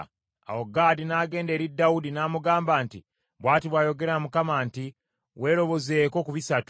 Awo Gaadi n’agenda eri Dawudi n’amugamba nti, “Bw’ati bw’ayogera Mukama nti, ‘Weerobozeeko ku bisatu: